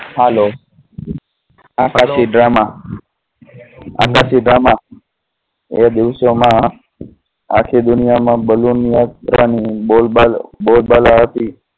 Hello. Drama. એ દિવસો માં આખી દુનિયા માં balloon યાત્રા ની બોલબાલા